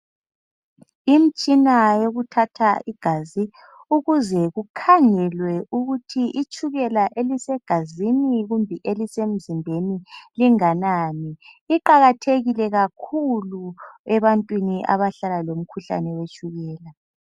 Imitshina yokuthatha igazi ukuze kukhangelwe ukuthi itshukela elisegazini kumbe elisemzimbeni linganani iqakathekile kakhulu ebantwini abahlala lomkhuhlane wetshukela.